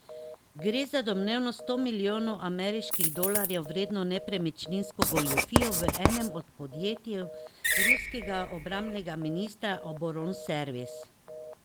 Gre za domnevno sto milijonov ameriških dolarjev vredno nepremičninsko goljufijo v enem od podjetij ruskega obrambnega ministrstva Oboronservis.